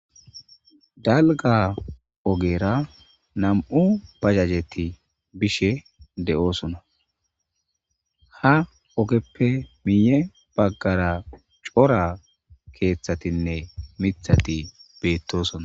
dalga ogera nam'u bajajeti bishe de'oosona ha ogeppe miiye baggara cora keeththatinne mithati beettosona